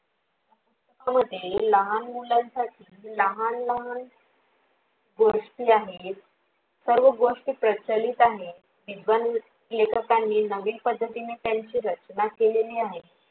मध्ये लहान मुलांसाठी लहान लहान गोष्टी आहेत सर्व गोष्टी प्रचलित आहे विद्वान लेखकांनी नवीन पध्दतीने त्यांची रचना केलेली आहे.